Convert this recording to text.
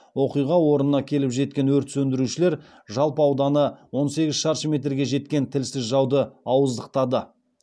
оқиға орнына келіп жеткен өрт сөндірушілер жалпы ауданы он сегіз шаршы метрге жеткен тілсіз жауды ауыздықтады